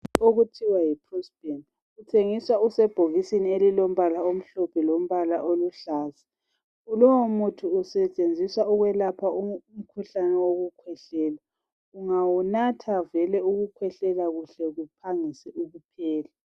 Okuthiwa yi "prospan" uthengiswa usebhokisini elilombala omhlophe lombala oluhlaza lowo usetshenziswa ukwelapha umkhuhlane wokukhwehlela ungawunatha vele ukhwehlela kuhle kuphangise ukuphela.